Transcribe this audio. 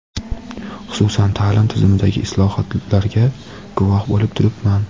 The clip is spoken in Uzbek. xususan ta’lim tizimidagi islohotlarga guvoh bo‘lib turibman.